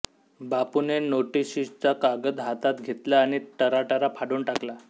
बापूने नोटीशीचा कागद हातात घेतला आणि टराटरा फाडून टाकला